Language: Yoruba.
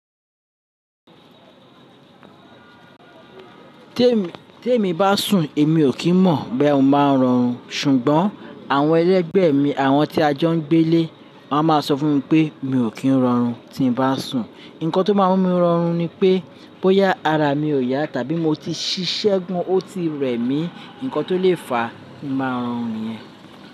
Tí èmi bá sùn èmi ò kí n mọ̀ boya mó ma rọrùn, ṣùgbọ́n àwọn ẹlẹ́gbẹ̀ mi, àwọn tí a jọ ń gbé lé, wọ́n máa sọ fún mi pé mi ò kí n rọrùn tí ń bá sùn. Ǹkan tó máa ń mú mi rọrùn ni pé bóyá ara mi ò yá tàbí mo ti ṣiṣẹ́ gan ó ti rẹ̀ mí, ǹkan tó lè fa kí ń máa rọrùn yẹn.